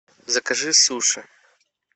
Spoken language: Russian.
закажи суши